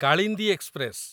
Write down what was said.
Kalindi express